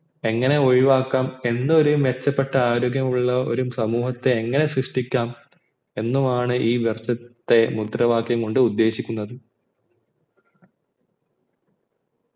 എങ്ങനെ ഒഴിവാക്കാം എന്നൊരു മെച്ചപ്പെട്ട ആരോഗ്യാമുള്ള ഒരു സമൂഹത്തെ എങ്ങനെ സൃഷ്ടിക്കാം എന്നുമാണ് ഈ വർഷത്തെ മുദ്രവാക്യം കൊണ്ട് ഉദ്ദേശിക്കുന്നത്